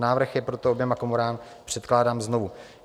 Návrh je proto oběma komorám předkládán znovu.